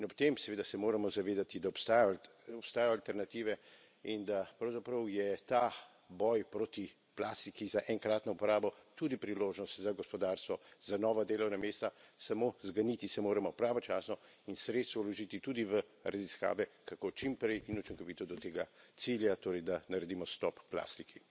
In ob tem, seveda, se moramo zavedati, da obstajajo alternative in da pravzaprav je ta boj proti plastiki za enkratno uporabo tudi priložnost za gospodarstvo, za nova delovna mesta, samo zganiti se moramo pravočasno in sredstva vložiti tudi v raziskave, kako čim prej in učinkovito do tega cilja, torej da naredimo stop plastiki.